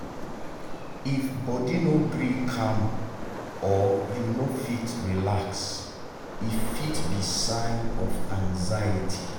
if body no gree calm or you no fit relax e fit be sign of anxiety.